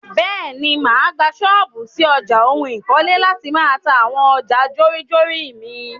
Bẹ́ẹ̀ni, máa gbà ṣọ́pù ṣí ọjà oun ikole láti máà ta àwọn ọjà jórinjórin mi.